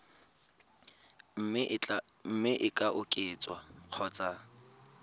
mme e ka oketswa kgotsa